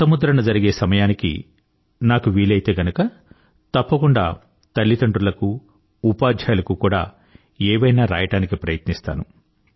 కొత్త ముద్రణ జరిగే సమయానికి నాకు వీలైతే గనుక తప్పకుండా తల్లిదండ్రుల కు ఉపాధ్యాయులకు కూడా ఏవైనా రాయడానికి ప్రయత్నిస్తాను